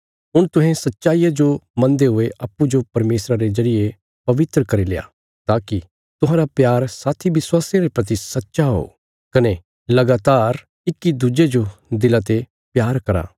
हुण तुहें सच्चाईया जो मनदे हुये अप्पूँजो परमेशरा रे जरिये पवित्र करील्या ताकि तुहांरा प्यार साथी विश्वासियां रे प्रति सच्चा हो कने लगातार इक्की दुज्जे जो दिला ते प्यार करा